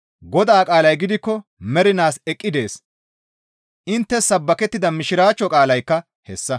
Godaa qaalay gidikko mernaas eqqi dees.» Inttes sabbakettida Mishiraachcho qaalaykka hessa.